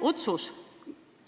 Jah, otsus,